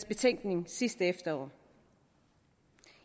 betænkning sidste efterår